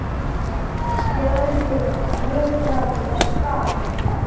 Jörðin nötraði og skalf.